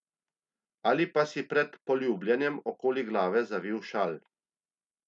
Ali pa si pred poljubljanjem okoli glave zavil šal.